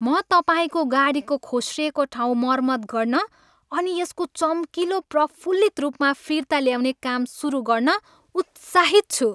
म तपाईँको गाडीको खोस्रिएको ठाउँ मर्मत गर्न अनि यसको चम्किलो, प्रफुल्लित रूपमा फिर्ता ल्याउने काम सुरु गर्न उत्साहित छु!